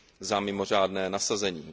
za mimořádné nasazení.